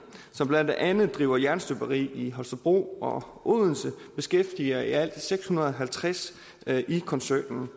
som blandt andet driver jernstøberi i holstebro og odense beskæftiger i alt seks hundrede og halvtreds i koncernen